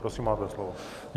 Prosím, máte slovo.